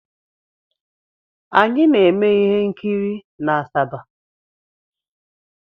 Anyị na-eme ihe nkiri n'Asaba.